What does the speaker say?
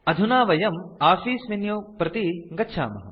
अधुना वयं office menu प्रति गच्छामः